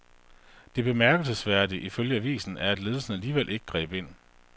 Det bemærkelsesværdige ifølge avisen er, at ledelsen alligevel ikke greb ind.